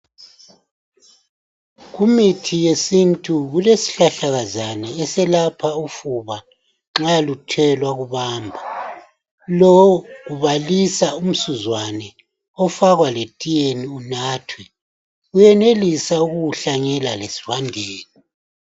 Kumithi yesintu kulesihlahlakazana eselapha ufuba nxa luthe lwakubamba, lo kubalisa umsuzwane ofakwa letiyeni unathwe. Uyenelisa ukuwuhlanyela lesivandeni.